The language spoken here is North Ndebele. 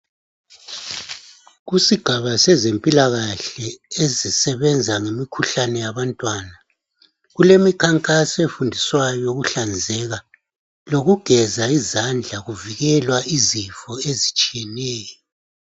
Kusigaba sezempilakahle esisebenza ngemikhuhlane yabantwana, kulemikhankaso efundiswayo yokuhlanzeka lokugeza izandla kuvikelwa izifo ezitshiyeneyo.